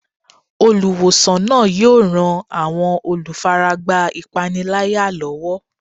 Olùwòsàn náà yóò ran àwọn olùfaragbá ìpániláyà lọ́wọ́.